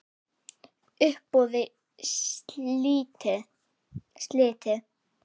Uppboði slitið.